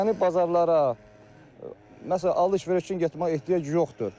Yəni bazarlara məsələn, alış-veriş üçün getməyə ehtiyac yoxdur.